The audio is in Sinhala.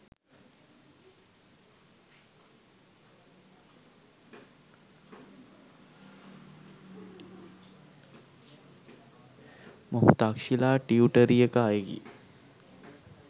මොහු තක්‍ෂිලා ටියුටරියක අයෙකි